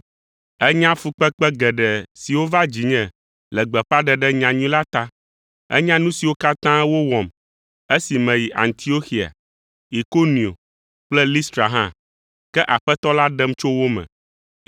Ènya fukpekpe geɖe siwo va dzinye le gbeƒãɖeɖe nyanyui la ta. Ènya nu siwo katã wowɔm esi meyi Antioxia, Ikonio kple Listra hã, ke Aƒetɔ la ɖem tso wo me.